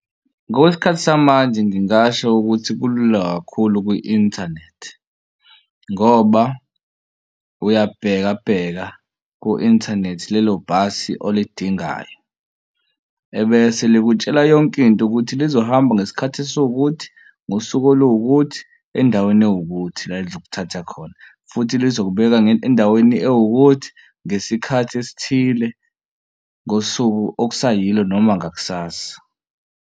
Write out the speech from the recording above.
Ngokwesikhathi samanje ngingasho ukuthi kulula kakhulu kwi-inthanethi ngoba uyabhekabheka ku-inthanethi lelo bhasi olindingayo ebese likutshela yonkinto ukuthi lizohamba ngesikhathi esiwukuthi ngosuku olukuthi endaweni ewukuthi la elizokuthatha khona futhi lizoqhubeka endaweni ewukuthi ngesikhathi esithile ngosuku okusayilo noma ngakusasa.